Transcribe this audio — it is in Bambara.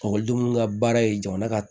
Ekɔlidenw ka baara ye jamana ka